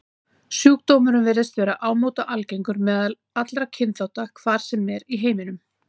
Sjúkdómurinn virðist vera ámóta algengur meðal allra kynþátta, hvar sem er í heiminum.